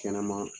Kɛnɛma